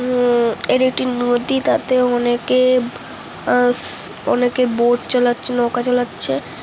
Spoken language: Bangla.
উ এর একটি নদী তাতে অনেকে বোর্ড চালাচ্ছে নৌকা চালাচ্ছে ।